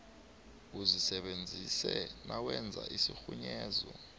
uzisebenzise nawenza isirhunyezo